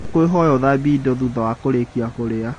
Ndakũĩhoya ũthambie indo thutha wa kũrĩkia kũria.